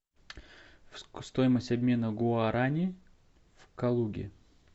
стоимость обмена гуарани в калуге